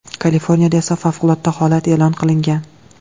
Kaliforniyada esa favqulodda holat e’lon qilingan .